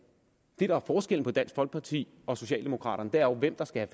gælder forskellen på dansk folkeparti og socialdemokraterne er jo hvem der skal